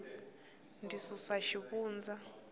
ndzi susu xivundza